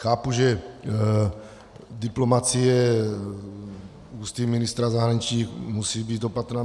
Chápu, že diplomacie ústy ministra zahraničí musí být opatrná.